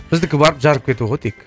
біздікі барып жарып кету ғой тек